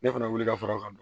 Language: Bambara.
Ne fana wuli ka fura ka don